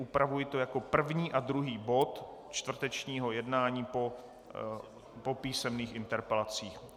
Upravuji to jako první a druhý bod čtvrtečního jednání po písemných interpelacích.